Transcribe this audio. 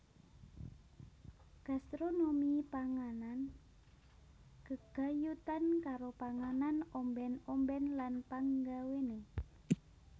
Gastronomi panganan gegayutan karo panganan ombèn ombèn lan panggawéné